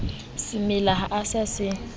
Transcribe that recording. semela ha o sa se